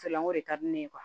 N ko de ka di ne ye